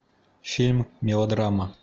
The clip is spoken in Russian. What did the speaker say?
фильм мелодрама